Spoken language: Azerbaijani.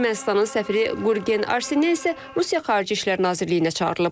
Ermənistanın səfiri Qurgin Arseyan isə Rusiya xarici İşlər Nazirliyinə çağırılıb.